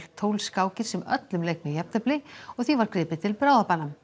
tólf skákir sem öllum lauk með jafntefli og því var gripið til bráðabana